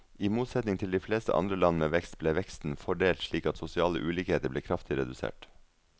I motsetning til de fleste andre land med vekst, ble veksten fordelt slik at sosiale ulikheter ble kraftig redusert.